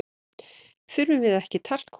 Þurfum við ekki talkúm?